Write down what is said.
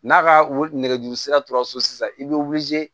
N'a ka nɛgɛjuru sira tora so sisan i bɛ